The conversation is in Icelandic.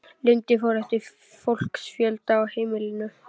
Lengdin fór eftir fólksfjölda á heimilunum.